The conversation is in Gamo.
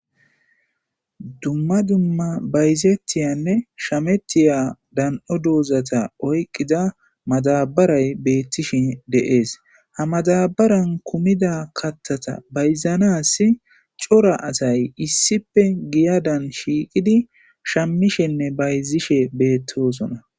dumma dumma bayzettiyanne shamettiya dan7o duuzata oyqqida matabaray beettishen de7ees ha matabaran kumida kattata bayzanas cora asay issipe giya dan shiiqidi shammishenne bayzishe beettosona